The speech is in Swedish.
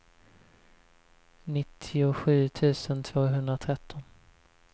nittiosju tusen tvåhundratretton